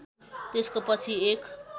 त्यसको पछि एक